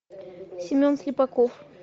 семен слепаков